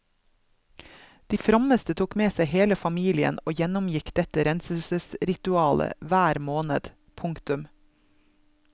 De frommeste tok med seg hele familien og gjennomgikk dette renselsesriualet hver måned. punktum